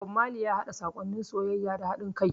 Bob Marley ya yaɗa saƙonnin soyayya da haɗin kai.